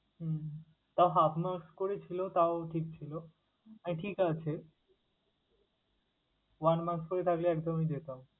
হুম তাও half marks করে ছিল তাও ঠিক ছিল, আহ ঠিক আছে one marks করে থাকলে একদমই যেতাম।